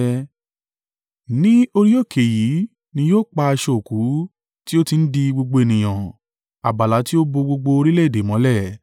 Ní orí òkè yìí ni yóò pa aṣọ òkú tí ó ti ń di gbogbo ènìyàn, abala tí ó bo gbogbo orílẹ̀-èdè mọ́lẹ̀,